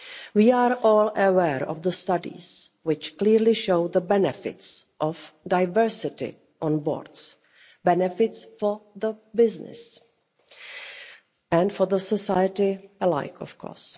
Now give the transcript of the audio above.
We are all aware of the studies, which clearly show the benefits of diversity on boards benefits for business and for society alike, of course.